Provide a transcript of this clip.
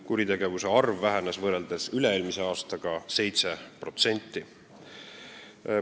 Kuritegude arv vähenes üle-eelmise aastaga võrreldes 7%.